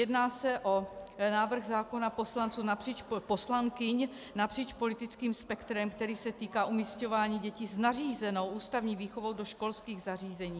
Jedná se o návrh zákona poslankyň napříč politickým spektrem, který se týká umísťování dětí s nařízenou ústavní výchovou do školských zařízení.